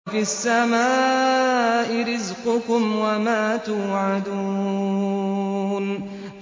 وَفِي السَّمَاءِ رِزْقُكُمْ وَمَا تُوعَدُونَ